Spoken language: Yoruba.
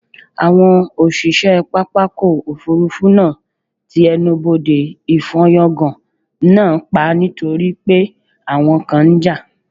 Àwọn òṣìṣẹ́ pápákọ̀ òfuurufú náà ti ẹnubodè ìfọ́yángá náà pa nítorí pé àwọn kan ń jà